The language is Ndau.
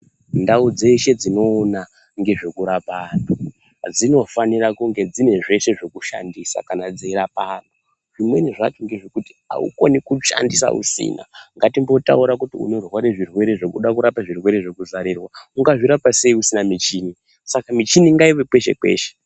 Ndau dzeshe dzinoona ngezvekurapa antu dzinofanira kunge dzine zveshe zvekushandisa kana dzeirapa antu zvimweni zvacho ngezvekuti aukoni kushandisa usina ngatimbotaure kuti unoda kurapa zvirwere zvekuzarirwa ungazvirapa sei usina muchini saka michini ngaive kweshe kweshe.